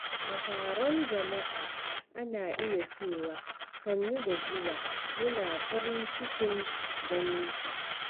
A taron jama’a, ana iya cewa "Sannu da zuwa, muna farin cikin ganinka."